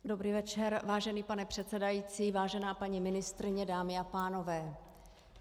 Dobrý večer, vážený pane předsedající, vážená paní ministryně, dámy a pánové.